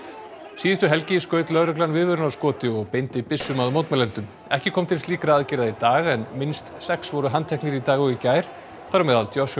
síðustu helgi skaut lögreglan viðvörunarskoti og beindi byssum að mótmælendum ekki kom til slíkra aðgerða í dag en minnst sex voru handteknir í dag og í gær þar á meðal Joshua